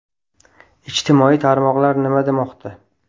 Ijtimoiy tarmoqlar nima demoqda?.